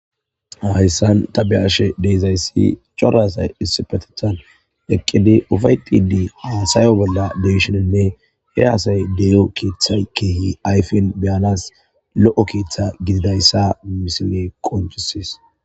Hayssan ta be ashe deezayssi corasay dissipetethan eqqidi ufay xidi haasayo bolla deshonenne he haasay dee'o keeththa keehi ayfen beyanas lo'o keeththa gididayssa misile qonjusis